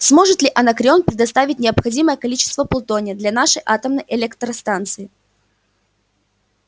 сможет ли анакреон предоставить необходимое количество плутония для нашей атомной электростанции